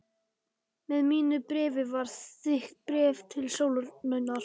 Með mínu bréfi var þykkt bréf til Sólrúnar.